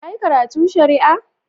Ya yi karatu shari'a?